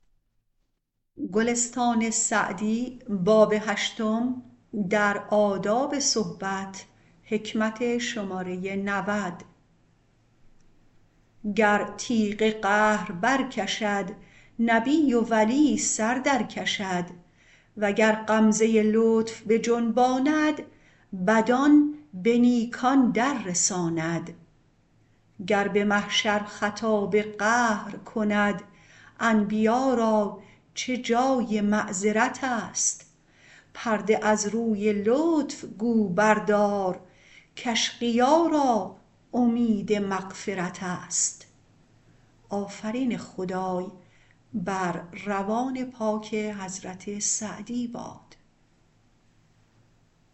گر تیغ قهر بر کشد نبی و ولی سر در کشد وگر غمزه لطف بجنباند بدان به نیکان در رساند گر به محشر خطاب قهر کند انبیا را چه جای معذرت است پرده از روی لطف گو بردار کاشقیا را امید مغفرت است